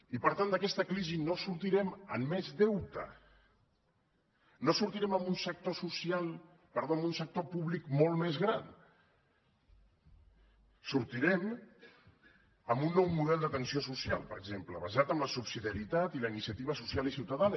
i per tant d’aquesta crisi no en sortirem amb més deute no en sortirem amb un sector públic molt més gran en sortirem amb un nou model d’atenció social per exemple basat en la subsidiarietat i la iniciativa social i ciutadana